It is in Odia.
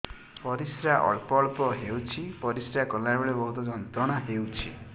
ପରିଶ୍ରା ଅଳ୍ପ ଅଳ୍ପ ହେଉଛି ପରିଶ୍ରା କଲା ବେଳେ ବହୁତ ଯନ୍ତ୍ରଣା ହେଉଛି